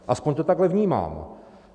Aspoň to takhle vnímám.